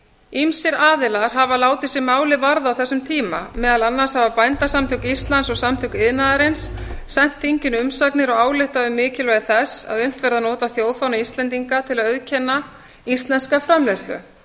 ýmsir aðilar hafa látið sig málið varða á þessum tíma meðal annars hafa bændasamtök íslands og samtök iðnaðarins sent þinginu umsagnir og ályktað um mikilvægi þess að unnt verði að nota þjóðfána íslendinga til að auðkenna íslenska framleiðslu